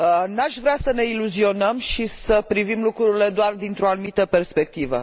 N aș vrea să ne iluzionăm și să privim lucrurile doar dintr o anumită perspectivă.